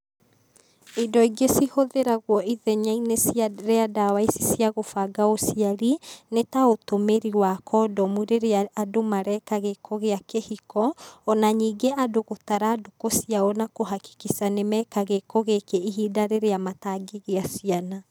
Indo ingĩ cihũthĩragwo ithenya-inĩ cia rĩa ndawa ici cia gũbanga ũciari, nĩ ta ũtũmĩri wa kondomu rĩrĩa andũ mareka gĩko gĩa kĩhiko, ona ningĩ andũ gũtara ndukũ ciao na kũhakikica nĩ meka gĩko gĩkĩ ihinda rĩrĩa matangĩgĩa ciana.